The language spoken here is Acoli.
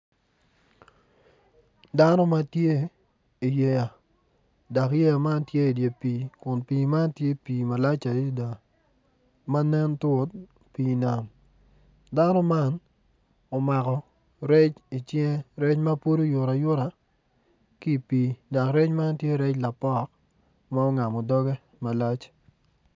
Dano ma tye i yeya dok yeya man tye i dye pii kun pii man tye pii malac adida ma nen tut pii nam dano man omako rec icinge rec ma pud oyuto ayuta ki i pii dok rec man tye rec lapok ma ongamo dogge malac